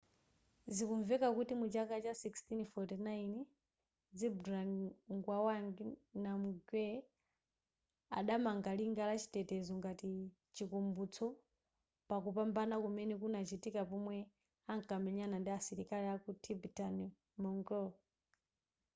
zikumveka kuti muchaka cha 1649 zhabdrung ngawang namgyel adamanga linga la chitetezo ngati chikumbutso pakupambana kumene kunachitika pomwe ankamenyana ndi asilikali aku tibetan-mongol